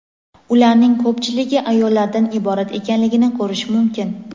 ularning ko‘pchiligi ayollardan iborat ekanligini ko‘rish mumkin.